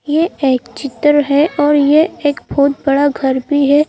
यह एक चित्र है और यह एक बहुत बड़ा घर भी है।